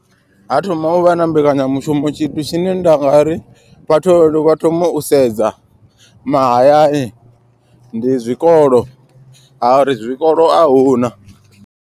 Ha thoma uvha na mbekanyamushumo tshithu tshine nda nga ri vhathu vha thoma u sedza mahayani ndi zwikolo ha uri zwikolo ahuna.